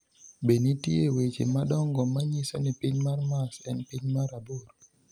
Be nitie weche madongo ma nyiso ni piny mar Mars en piny mar aboro?